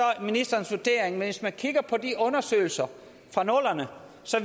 ministerens vurdering men hvis man kigger på de undersøgelser fra nullerne